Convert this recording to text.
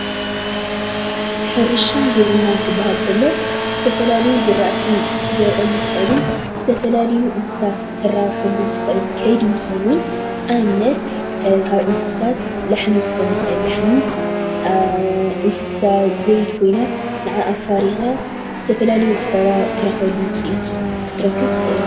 ሕርሻን ግብርናን ክባሃል እንቶሎ ዝተፈላለየ ዝርኣቲ ክትዘርእሉ እትክእልን ዝተፈላላዩ እንስሳት ክተራበሐሉ ትክእል ከይዲ እንትከውን ኣብነት ካብ እንስሳት ላሕሚ ክኮን ይክእል ላሕሚ እንስሳ ዘቤት ኮይና ናዓዓ ኣፈሪካ ዝተፈላለዩ ፀባ ትረክበሉ ውፅኢት ክትርከብ ትክእል።